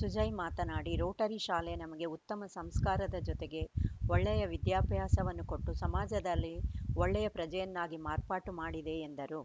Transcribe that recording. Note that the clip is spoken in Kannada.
ಸುಜಯ್‌ ಮಾತನಾಡಿ ರೋಟರಿ ಶಾಲೆ ನಮಗೆ ಉತ್ತಮ ಸಂಸ್ಕಾರದ ಜೊತೆಗೆ ಒಳ್ಳೆಯ ವಿದ್ಯಾಭ್ಯಾಸವನ್ನು ಕೊಟ್ಟು ಸಮಾಜದಲ್ಲಿ ಒಳ್ಳೆಯ ಪ್ರಜೆಯನ್ನಾಗಿ ಮಾರ್ಪಾಟು ಮಾಡಿದೆ ಎಂದರು